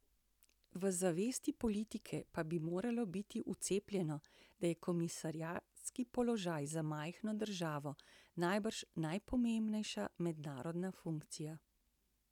V zavesti politike pa bi moralo biti vcepljeno, da je komisarski položaj za majhno državo najbrž najpomembnejša mednarodna funkcija.